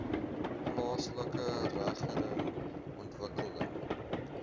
plaaslike regering ontwikkeling